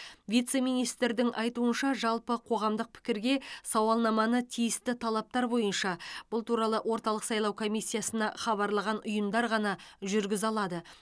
вице министрдің айтуынша жалпы қоғамдық пікірге сауалнаманы тиісті талаптар бойынша бұл туралы орталық сайлау комиссиясына хабарлаған ұйымдар ғана жүргізе алады